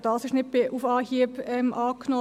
auch dieses wurde nicht auf Anhieb angenommen.